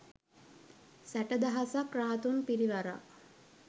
සැටදහසක් රහතුන් පිරිවරා